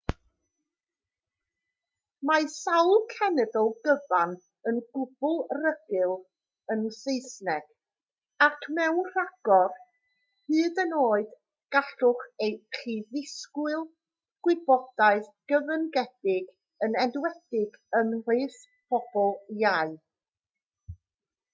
mae sawl cenedl gyfan yn gwbl rugl yn saesneg ac mewn rhagor hyd yn oed gallwch chi ddisgwyl gwybodaeth gyfyngedig yn enwedig ymhlith pobl iau